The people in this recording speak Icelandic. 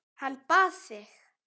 Hann bað þig.